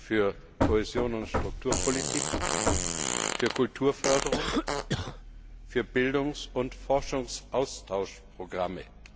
für Kohäsion und Strukturpolitik, für Kulturförderung, für Bildungs und Forschungsaustauschprogramme.